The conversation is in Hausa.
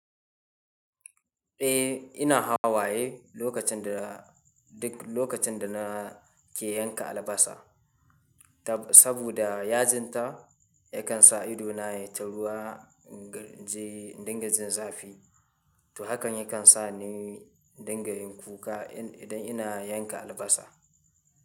Eh, ina hawaye lokacin da, duk lokacin da na ke yanka albasa. Saboda yajinta yakan sa idona ya taruwa in dinga jin zafi. To hakan yakan sa ni dinga yin kuka idan ina yanka albasa.